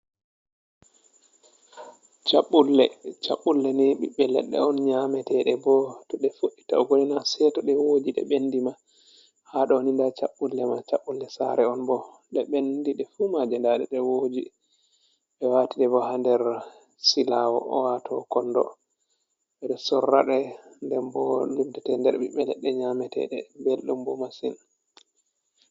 Caɓɓulle, Caɓɓulle ni ɓiɓbe leɗɗe on nyamete ɗe, bo to fuɗ’i taugo ni na seto ɗe woji ɗe bendi ba, ha dou ni nda caɓɓulle ma, caɓɓulle sare on bo ɗe ɓendi ɗe fu maje, nda ɗe, ɗe woji be wati ɗe bo ha nder silawo owato kondo, ɓeɗo sorra ɗe den bo luddate nder ɓiɓɓe leɗɗe nyameteɗe belɗum bo masin.